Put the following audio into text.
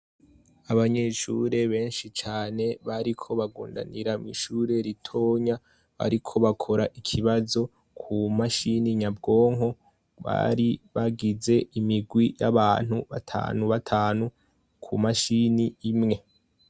Abanyeshure benshi cane bariko bagundanira mw’ishure ritonya ariko bakora ikibazo ku mashini nyabwonko bari bagize imigwi y’abantu batanu batanu ku mashini imwe.